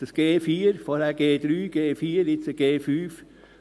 Jetzt haben wir 4G, vorher 3G, bald 5G.